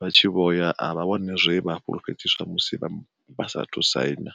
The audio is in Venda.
vha tshi vhoya avha wani zwe vha fulufhedziswa musi vha sathu saina.